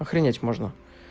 охренеть можно